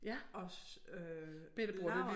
Og øh lavede